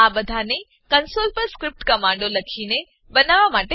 આ બધાને કંસોલ પર સ્ક્રીપ્ટ કમાંડો લખીને બનાવવામાં આવ્યા હતા